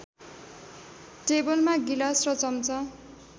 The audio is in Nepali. टेबलमा गिलास र चम्चा